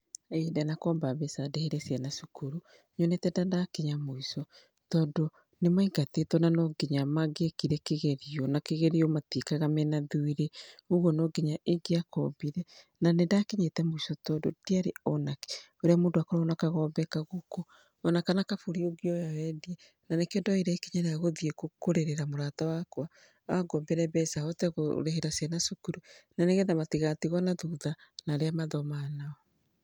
Ĩ ndanakomba mbeca ndĩhĩre ciana cukuru nyonete ta ndakinya mũico .Tondũ nĩ maingatitwo nano nginya mangĩekire kĩgerio na kĩgerio matiĩkaga mena thirĩ. Kogwo no nginya ingĩakombire na nĩ ndakinyĩte mũico tondũ ndiarĩ ona kĩ. Ũria mũndũ akoragwo na kagombe, kagũkũ ona kana kabũri ũngĩoya wendie. Na nĩ kĩo ndoire ikinya rĩa gũthiĩ kũrĩrĩra mũrata wakwa angombere mbeca hote kũrĩhĩra ciana cukuru na nĩ getha matigatigwo na thutha nĩ arĩa mathomaga nao.